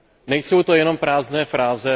Nejsou to jenom prázdné fráze?